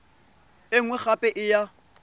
e nngwe gape e ya